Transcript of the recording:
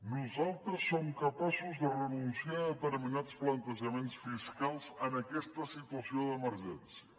nosaltres som capaços de renunciar a determinats plantejaments fiscals en aquesta situació d’emergència